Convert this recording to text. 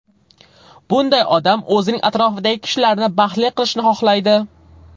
Bunday odam o‘zining atrofidagi kishilarni baxtli qilishni xohlaydi.